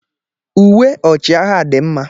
Uwe ọchịagha dị mma